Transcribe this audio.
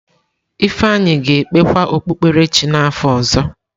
Ifeanyi ga-ekpekwa okpukpere chi n’afọ ọzọ.